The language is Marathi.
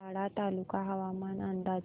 वाडा तालुका हवामान अंदाज